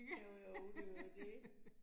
Jo jo, det jo det